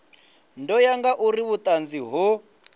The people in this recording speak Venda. ḓo ya ngauri vhuṱanzi ho